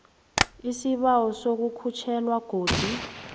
isibawo sokukhutjhelwa godu